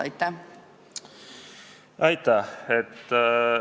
Aitäh!